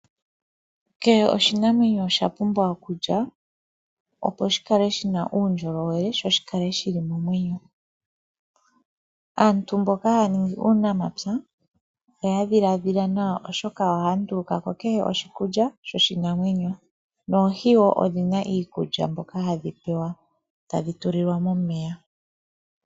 Keshe oshinamwenyo osha pumbwa okulya opo shikale shina uundjolowele sho shikale shili momwenyo, aantu mboka haya ningi uunamapya oya dhiladhila nawa oshoka ohaya nduluka ko keshe oshikulya sho shinamwenyo, noohi odhi na wo iikulya mbyoka hadhi pewa tadhi tulilwa momeya.